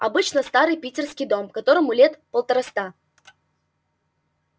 обычный старый питерский дом которому лет полтораста